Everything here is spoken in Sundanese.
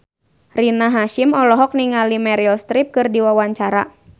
Rina Hasyim olohok ningali Meryl Streep keur diwawancara